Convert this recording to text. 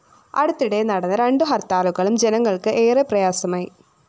അടുത്തിടെ നടന്ന രണ്ടു ഹര്‍ത്താലുകളും ജനങ്ങള്‍ക്ക് ഏറെ പ്രയാസമായി